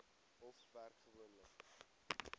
hof werk gewoonlik